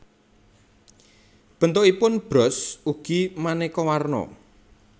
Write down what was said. Bentukipun bros ugi manéka warna